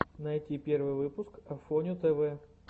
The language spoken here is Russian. найти первый выпуск афоню тв